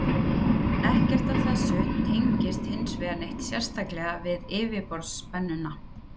Ekkert af þessu tengist hins vegar neitt sérstaklega við yfirborðsspennuna.